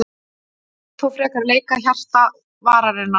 Hann vill þó frekar leika í hjarta varnarinnar.